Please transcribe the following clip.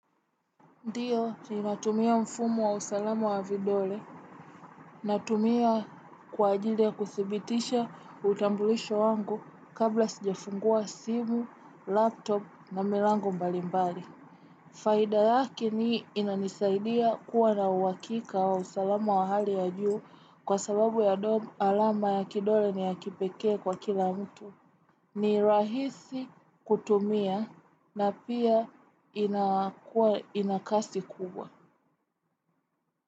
Ndiyo, ninatumia mfumo wa usalama wa vidole, natumia kwa ajili ya kuthibitisha utambulisho wangu kabla sijafungua simu, laptop na milango mbali mbali. Faida lake ni inanisaidia kuwa na uhakika wa usalama wa hali ya juu kwa sababu ya alama ya kidole ni ya kipekee kwa kila mtu. Ni rahisi kutumia na pia inakuwa ina kasi kubwa.